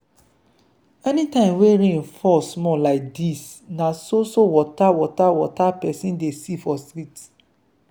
anytime wey rain fall small like dis na so so water water water pesin dey see for street.